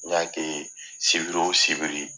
N y'a kɛ ye Sibiri o sibiri